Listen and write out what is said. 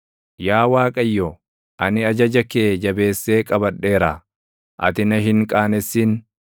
Yaa Waaqayyo, ani ajaja kee jabeessee qabadheera; ati na hin qaanessin.